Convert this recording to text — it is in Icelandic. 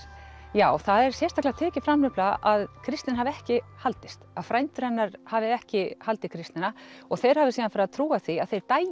já það er sérstaklega tekið fram nefnilega að kristnin hafi ekki haldist að frændur hennar hafi ekki haldið kristnina og þeir hafi síðan farið að trúa því að þeir